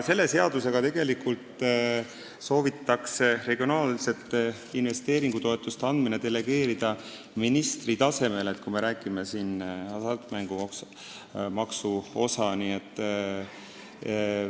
Selle seadusega soovitakse regionaalsete investeeringutoetuste andmine delegeerida ministri tasemele, kui me räägime hasartmängumaksu osast.